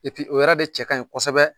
o yɛrɛ de cɛ ka ɲi kɔsɔbɛ.